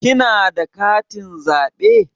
Kina da katin zaɓe?